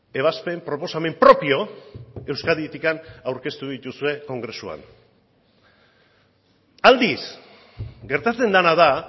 ebazpen proposamen propio euskaditik aurkeztu dituzue kongresuan aldiz gertatzen dena da